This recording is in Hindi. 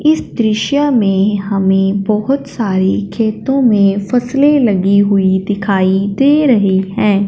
इस दृश्य मे हमें बहोत सारे खेतों में फसले लगी हुई दिखाई दे रही हैं।